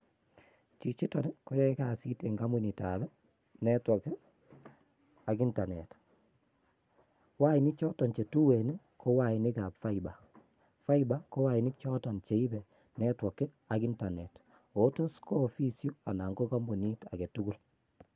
Chichito koyoe kasit en kompunitab network ak internet, wainik choton chetuen ko wainik che tuen, choton ko wainik che kitokyi konamgee ak internet.